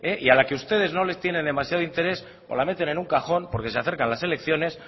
y a la que ustedes no les tiene demasiado interés pues la meten en un cajón porque se acercan las elecciones